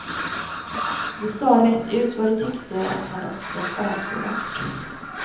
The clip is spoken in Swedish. De sa rätt ut vad de tyckte, att han uppträtt avskyvärt.